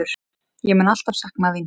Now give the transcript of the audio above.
Ég mun alltaf sakna þín.